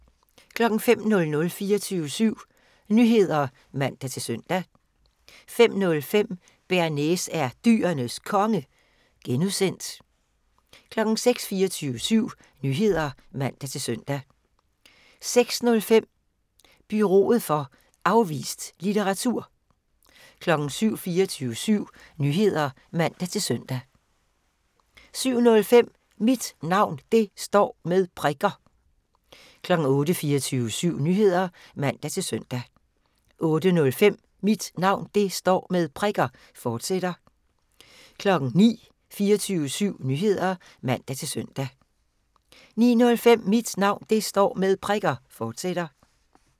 05:00: 24syv Nyheder (man-søn) 05:05: ’Bearnaise er Dyrenes Konge (G) 06:00: 24syv Nyheder (man-søn) 06:05: Bureauet for Afvist Litteraratur 07:00: 24syv Nyheder (man-søn) 07:05: Mit Navn Det Står Med Prikker 08:00: 24syv Nyheder (man-søn) 08:05: Mit Navn Det Står Med Prikker, fortsat 09:00: 24syv Nyheder (man-søn) 09:05: Mit Navn Det Står Med Prikker, fortsat